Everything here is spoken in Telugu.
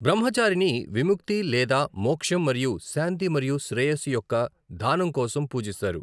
బ్రహ్మచారిని విముక్తి లేదా మోక్షం మరియు శాంతి మరియు శ్రేయస్సు యొక్క దానం కోసం పూజిస్తారు.